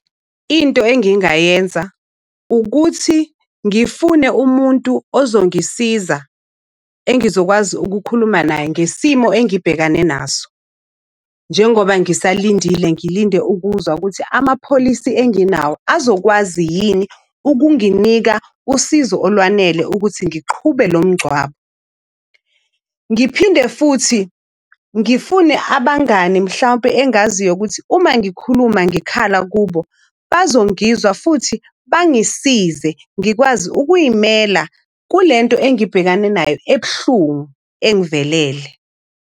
Into engingayenza ukuthi ngifune umuntu ozongisiza engizokwazi ukukhuluma naye ngesimo engibhekane naso. Njengoba ngisalindile ngilinde ukuzwa ukuthi amapholisi enginawo azokwazi yini ukunginika usizo olwanele ukuthi ngiqhube lo mngcwabo. Ngiphinde futhi ngifune abangani, mhlawumpe engaziyo ukuthi uma ngikhuluma ngikhala kubo, bazongizwa futhi bangisize ngikwazi ukuy'mela kule nto engibhekane nayo ebuhlungu engivelele.